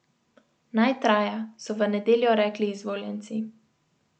Naj traja, so v nedeljo rekli izvoljenci.